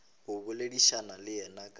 go boledišana le yena ka